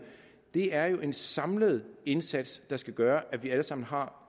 det er jo en samlet indsats der skal gøre at vi alle sammen har